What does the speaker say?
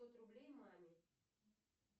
пятьсот рублей маме